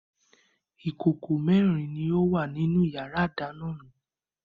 Ìkòkò mẹ́rin ni ó wà nínú ìyàrá-ìdáná mi.